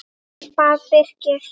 bað Birkir.